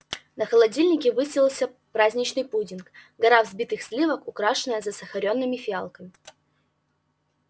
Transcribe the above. на холодильнике высился праздничный пудинг гора взбитых сливок украшенная засахаренными фиалками